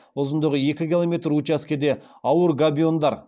ұзындығы екі километр учаскеде ауыр габиондар